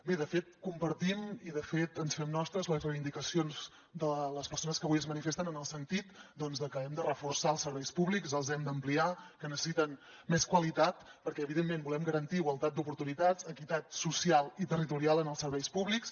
bé de fet compartim i de fet ens fem nostres les reivindicacions de les persones que avui es manifesten en el sentit doncs de que hem de reforçar els serveis públics els hem d’ampliar que necessiten més qualitat perquè evidentment volem garantir igualtat d’oportunitats equitat social i territorial en els serveis públics